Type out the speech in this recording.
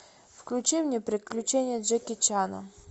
включи мне приключения джеки чана